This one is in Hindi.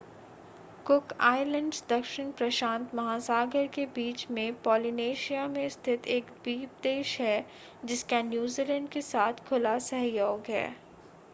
कुक आइलैंड्स दक्षिण प्रशांत महासागर के बीच में पोलिनेशिया में स्थित एक द्वीप देश है, जिसका नूजीलैंड के साथ खुला सहयोग है ।